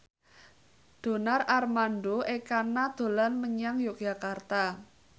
Donar Armando Ekana dolan menyang Yogyakarta